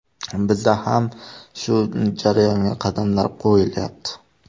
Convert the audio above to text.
Bizda ham shu jarayonga qadamlar qo‘yilyapti.